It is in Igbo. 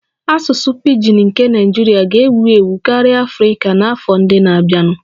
Asụsụ pidgin nke Naijiria ga-ewu ewu karịa Afrika n'afọ ndị na-abịanụ